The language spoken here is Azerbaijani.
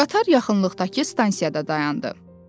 Qatar yaxınlıqdakı stansiyada dayandı.